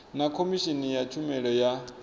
na khomishini ya tshumelo ya